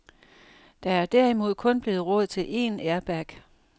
Der er derimod kun blevet råd til én airbag.